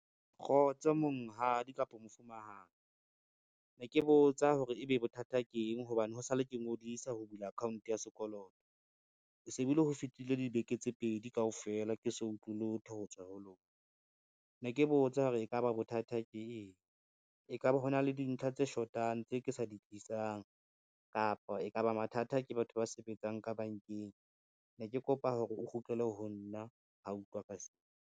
Kgotso monghadi kapo mofumahadi, ne ke botsa hore ebe bothata ke eng hobane ho sa le ke ngodisa ho bula account ya sekoloto. Ho se be le ho fetile dibeke tse pedi kaofela ke so utlwe lotho ho tswa ho lona, ne ke botsa hore e ka ba bothata ke eng. E ka ba ho na le dintlha tse shotang tse ke sa di tlisang, kapa e ka ba mathata ke batho ba sebetsang ka bankeng ne ke kopa hore o kgutlele ho nna ho utlwa ka se.